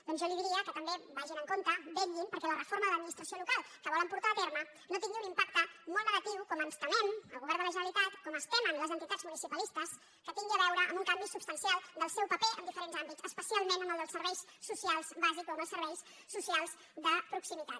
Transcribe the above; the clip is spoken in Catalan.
doncs jo li diria que també vagin amb compte vetllin perquè la reforma de l’administració local que volen portar a terme no tingui un impacte molt negatiu com ens temem el govern de la genera·litat com es temen les entitats municipalistes que tin·gui a veure en un canvi substancial del seu paper en di·ferents àmbits especialment en el dels serveis socials bàsics o en els serveis socials de proximitat